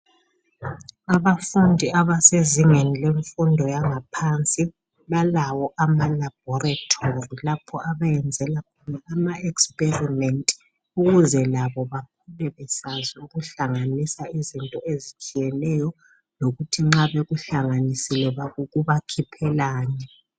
Abafundi abasezingeni lemfundo yangaphansi balawo ama laboratory lapho abayenzela khona ama experiment ukuze labo bakhule besazi ukuhlanganisa izinto ezitshiyeneyo lokuthi nxa bekuhlanganisile kubakhiphelani.